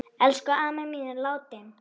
Elsku amma mín er látin.